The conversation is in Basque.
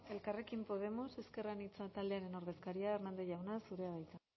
elkarrekin podemos ezker anitza taldearen ordezkaria hernández jauna zurea da hitza